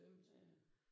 Ja ja